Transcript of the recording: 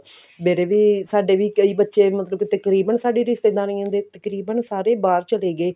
ਮੇਰੇ ਵੀ ਸਾਡੇ ਵੀ ਕਈ ਬੱਚੇ ਮਤਲਬ ਕਿ ਤਕਰੀਬਨ ਸਾਡੀ ਰਿਸ਼ਤੇਦਾਰੀਆਂ ਦੇ ਸਾਰੇ ਬਾਹਰ ਚਲੇ ਗਏ